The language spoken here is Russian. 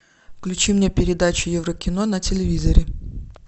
включи мне передачу еврокино на телевизоре